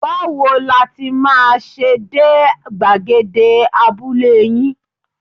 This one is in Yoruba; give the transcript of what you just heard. Báwo la ti máa ṣe dé gbàgede abúlé yín?